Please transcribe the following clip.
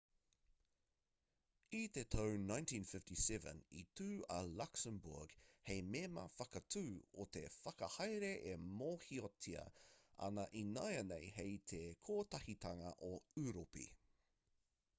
i te tau 1957 i tū a luxembourg hei mema whakatū o te whakahaere e mōhiotia ana ināianei hei te kotahitanga o ūropi